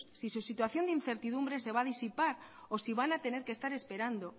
si su situación de incertidumbre se va a disipar o si van a tener que estar esperando